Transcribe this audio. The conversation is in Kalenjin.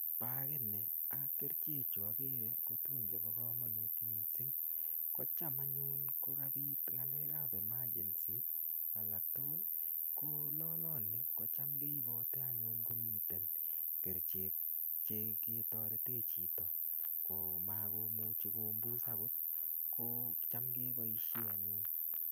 Bagini ak kerichechu agere ko tugun chebo komonut mising, Ko cham anyu kokapit ng'alekab emergency alktugul, ko loloni kocham keipati anyun komito kerichek cheketorete chito komakomuchi kombus kocham ketorete anyun.